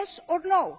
Yes or no?